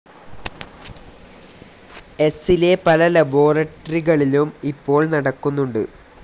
എസ്സിലെ പല ലബോറട്ടറികളിലും ഇപ്പോൾ നടക്കുന്നുണ്ട്.